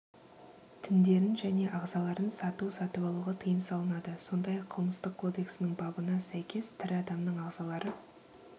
тіндерін және ағзаларын сату-сатып алуға тыйым салынады сондай-ақ қылмыстық кодексінің бабына сәйкес тірі адамның ағзалары